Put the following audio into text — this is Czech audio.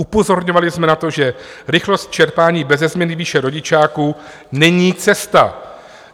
Upozorňovali jsme na to, že rychlost čerpání beze změny výše rodičáku není cesta.